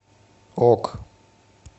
ок